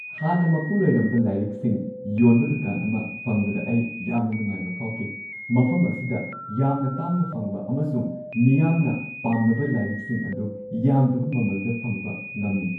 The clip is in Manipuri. ꯍꯥꯟꯅ ꯃꯄꯨ ꯂꯩꯔꯝꯕ ꯂꯥꯏꯔꯤꯛꯁꯤꯡ ꯌꯣꯟꯕ ꯗꯨꯀꯥꯟ ꯑꯃ ꯐꯪꯕꯗ ꯑꯩ ꯌꯥꯝꯅ ꯅꯨꯡꯉꯥꯏꯕ ꯐꯥꯎꯈꯤ ꯫ ꯃꯐꯝ ꯑꯁꯤꯗ ꯌꯥꯝꯅ ꯇꯥꯡꯅ ꯐꯪꯕ ꯑꯃꯁꯨꯡ ꯃꯤꯌꯥꯝꯅ ꯄꯥꯝꯅꯕ ꯂꯥꯏꯔꯤꯛꯁꯤꯡ ꯑꯗꯨ ꯌꯥꯝꯗꯕ ꯃꯃꯜꯗ ꯐꯪꯕ ꯉꯝꯃꯤ ꯫